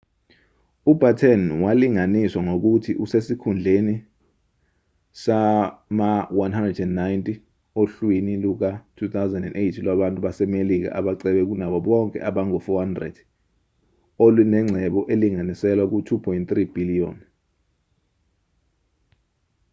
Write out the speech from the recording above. ubatten walinganiswa ngokuthi usesikhundleni sama-190 ohlwini luka-2008 lwabantu basemelika abacebe kunabo bonke abangu-400 elunengcebo elinganiselwa ku-$2.3 bhiliyoni